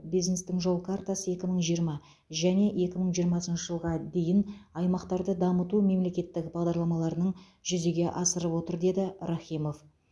бизнестің жол картасы екі мың жиырма және екі мың жиырмасыншы жылға дейін аймақтарды дамыту мемлекеттік бағдарламаларының жүзеге асырып отыр деді рахимов